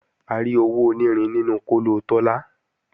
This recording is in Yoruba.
A rí owó onírin nínú kóló Tọ́lá